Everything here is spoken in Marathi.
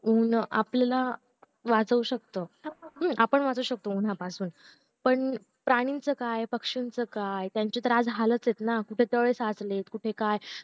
ऊन आपल्याला वाचवू शकत हम्म आपण वाचू शकतो उंन्हा पासून पण प्राणींच काय पक्षांचं काय त्यांचे तर आज हालाचना कुठे तळे साचले कुठे काय